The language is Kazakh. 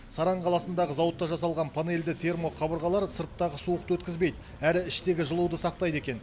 саран қаласындағы зауытта жасалған панельді термоқабырғалар сырттағы суықты өткізбейді әрі іштегі жылуды сақтайды екен